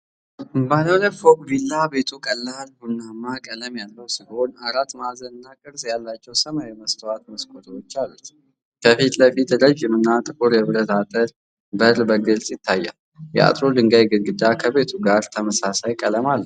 ባለ ሁለት ፎቅ ቪላ፤ ቤቱ ቀላል ቡናማ ቀለም ያለው ሲሆን፤ አራት ማዕዘን እና ቅርፅ ያላቸው ሰማያዊ መስታወት መስኮቶች አሉት። ከፊት ለፊት ረዥም እና ጥቁር የብረት አጥር በር በግልጽ ይታያል። የአጥሩ የድንጋይ ግድግዳ ከቤቱ ጋር ተመሳሳይ ቀለም አለው።